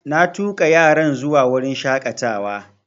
Na tuƙa yaran zuwa wurin shaƙatawa